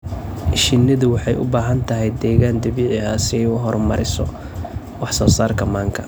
Shinnidu waxay u baahan tahay deegaan dabiici ah si ay u horumariso wax soo saarka manka.